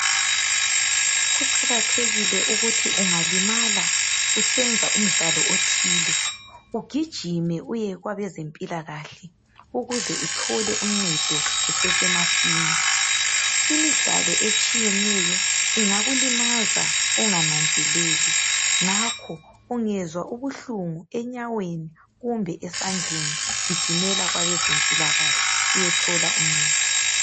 Kuqakathekile ukuthi ungalima usenza umdlalo othile ugijime uye kwabezempilakahle uthole usizo kusesemasinyane imidlalo etshiyeneyo ingakulimaza ungananzeleli ngakho ungezwa ubuhlungu enyaweni kumbe esandleni gijimela kwabezempilakahle uyethola ungcedo